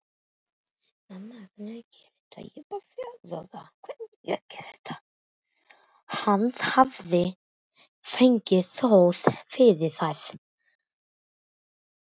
Hann hafði fengið hrós fyrir þær.